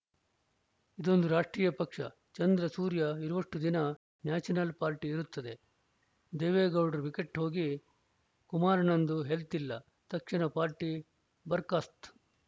ಇದೊಂದು ರಾಷ್ಟ್ರೀಯ ಪಕ್ಷ ಚಂದ್ರ ಸೂರ್ಯ ಇರುವಷ್ಟುದಿನ ನ್ಯಾಷನಲ್‌ ಪಾರ್ಟಿ ಇರುತ್ತದೆ ದೇವೇಗೌಡ್ರ ವಿಕೆಟ್‌ ಹೋಗಿ ಕುಮಾರಣ್ಣಂದು ಹೆಲ್ತ್‌ ಇಲ್ಲ ತಕ್ಷಣ ಪಾರ್ಟಿ ಬರ್ಖಾಸ್ತು